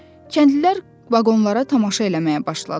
Kəndlilər vaqonlara tamaşa eləməyə başladılar.